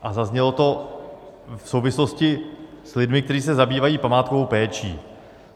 A zaznělo to v souvislosti s lidmi, kteří se zabývají památkovou péčí.